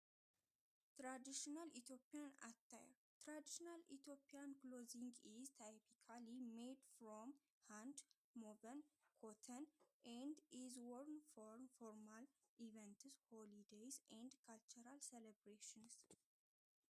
ተራዲስናል ኢቲያን ኣታይ ተራዲስናል ኢቲጵያን ክሎዝንግ ዝታይ ብካል ሞድ ፍሮም ሃንድ ሞበን ኮተን እንድ ኢዝዎርን ፍርሚ ፍርማል ኢፌንትዝ ሁሊይ ደይስ ኤንድ ካልተራል ሰለብሬስንስ።